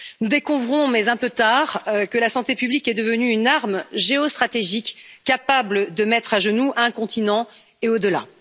Nous découvrons, mais un peu tard, que la santé publique est devenue une arme géostratégique capable de mettre à genoux un continent et au delà.